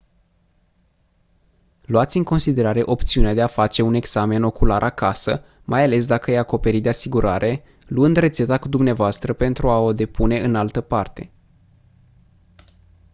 luați în considerare opțiunea de a face un examen ocular acasă mai ales dacă e acoperit de asigurare luând rețeta cu dvs pentru a o depune în altă parte